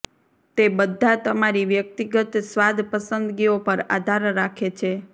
તે બધા તમારી વ્યક્તિગત સ્વાદ પસંદગીઓ પર આધાર રાખે છે